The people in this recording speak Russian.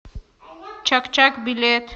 чак чак билет